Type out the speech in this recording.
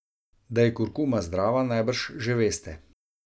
Da je kurkuma zdrava, najbrž že veste.